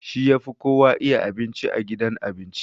He is the best chef in the restaurant